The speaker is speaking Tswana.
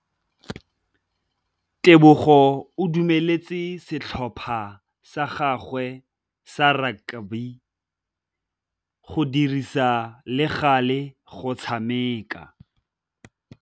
Tebogô o dumeletse setlhopha sa gagwe sa rakabi go dirisa le galê go tshameka.